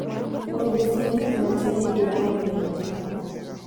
Ngombe cia nyama cirendio na mbei njega.